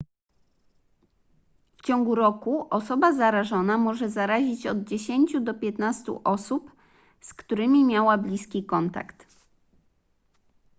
w ciągu roku osoba zarażona może zarazić od 10 do 15 osób z którymi miała bliski kontakt